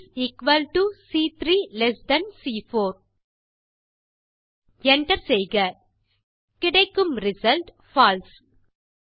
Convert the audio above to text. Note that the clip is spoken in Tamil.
is equal to C3 less than C4 Enter செய்க கிடைக்கும் ரிசல்ட் பால்சே